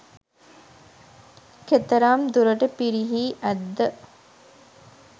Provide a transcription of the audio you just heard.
කෙතරම් දුරට පිරිහී ඇත්ද